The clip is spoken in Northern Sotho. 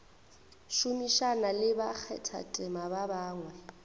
šomišana le bakgathatema ba bangwe